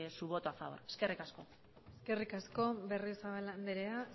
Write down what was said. su voto a favor eskerrik asko eskerrik asko berriozabal andrea